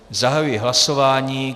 Zahajuji hlasování.